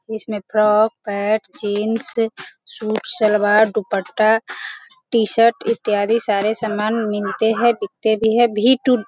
इसमें frock pant jeans suit salwar dupatta T-shirt इत्यादि सारे सामान मिलते हैं और बिकते भी हैं भी टू --